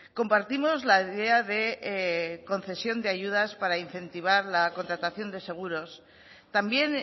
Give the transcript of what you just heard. compartimos la idea de concesión de ayudas para incentivar la contratación de seguros también